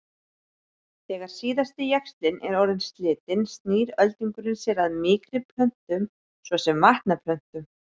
Þegar síðasti jaxlinn er orðinn slitinn snýr öldungurinn sér að mýkri plöntum svo sem vatnaplöntum.